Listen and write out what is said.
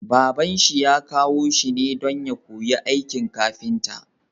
Baban shi ya kawo shi ne don ya koyi aikin kafinta